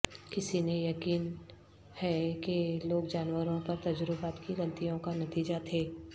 کسی نے یقین ہے کہ لوگ جانوروں پر تجربات کی غلطیوں کا نتیجہ تھے